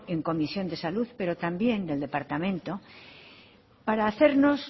en comisión de salud pero también del departamento para hacernos